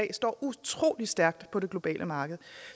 utrolig stærkt på det globale marked